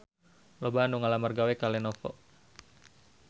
Loba anu ngalamar gawe ka Lenovo